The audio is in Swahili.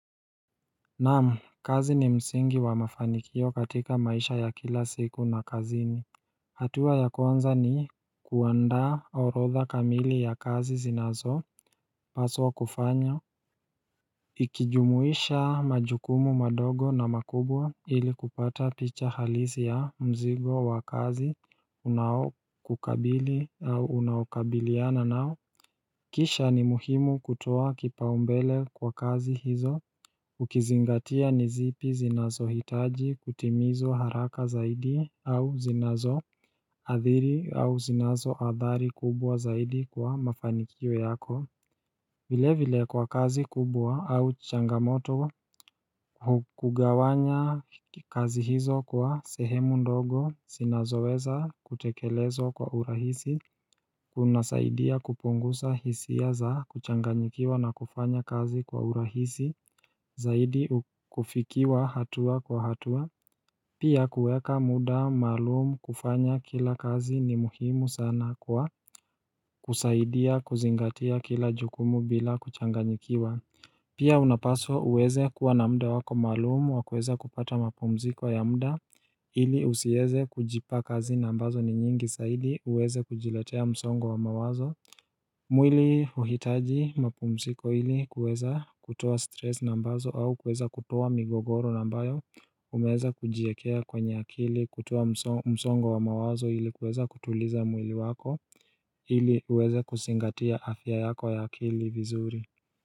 Naamu kazi ni msingi wa mafanikio katika maisha ya kila siku na kazini hatua ya konza ni kuandaa orotha kamili ya kazi zinazo paswa kufanya Ikijumuisha majukumu madogo na makubwa ili kupata picha halisi ya mzigo wa kazi unawo kukabili au unawakabiliana nao Kisha ni muhimu kutoa kipaumbele kwa kazi hizo Ukizingatia nizipi zinazo hitaji kutimizwa haraka zaidi au zinazo Adhiri au zinazo adhari kubwa zaidi kwa mafanikio yako vile vile kwa kazi kubwa au changamoto Hukugawanya kazi hizo kwa sehemu ndogo Sina zoeza kutekelezo kwa urahisi kunasaidia kupungusa hisia za kuchanganyikiwa na kufanya kazi kwa urahisi Zaidi kufikiwa hatua kwa hatua Pia kuweeka muda malumu kufanya kila kazi ni muhimu sana kwa kusaidia kuzingatia kila jukumu bila kuchanganyikiwa Pia unapaswa uweze kuwa na mda wako malumu wakueze kupata mapumziko ya mda ili usieze kujipa kazi nambazo ni nyingi saidi uweze kujiletea msongo wa mawazo mwili uhitaji mapumsiko ili kueza kutowa stress nambazo au kueza kutowa migogoro nambayo umeza kujiekea kwenye akili kutowa msongo wa mawazo ili kueza kutuliza mwili wako ili uweza kuzingatia afya yako ya akili vizuri.